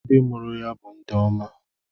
Ndị mụrụ ya bụ ndị oma.